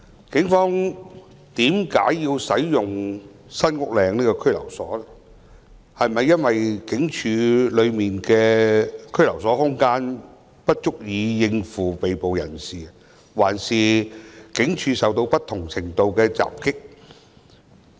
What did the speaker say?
為甚麼警方要使用該中心，是警署內的拘留空間不足以應付被捕人士，抑或警署曾受到不同程度的襲擊？